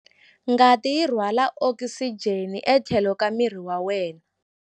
Ngati yi rhwala okisijeni etlhelo ka miri wa wena.